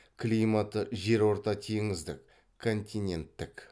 климаты жерортатеңіздік континенттік